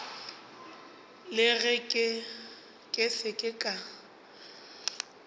le ge ke se ka